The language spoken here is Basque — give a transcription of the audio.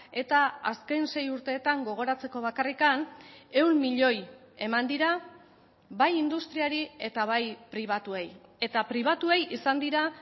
eta azken sei urteetan gogoratzeko bakarrik ehun milioi eman dira bai industriari eta bai pribatuei eta pribatuei izan dira